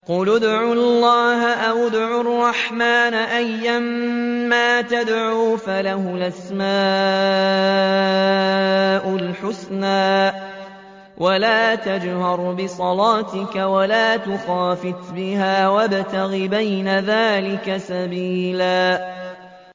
قُلِ ادْعُوا اللَّهَ أَوِ ادْعُوا الرَّحْمَٰنَ ۖ أَيًّا مَّا تَدْعُوا فَلَهُ الْأَسْمَاءُ الْحُسْنَىٰ ۚ وَلَا تَجْهَرْ بِصَلَاتِكَ وَلَا تُخَافِتْ بِهَا وَابْتَغِ بَيْنَ ذَٰلِكَ سَبِيلًا